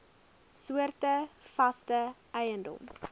soorte vaste eiendom